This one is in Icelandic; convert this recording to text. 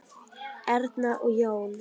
Erna og Jón.